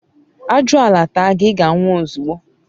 ajuala taa gi, iga nwu ozugbo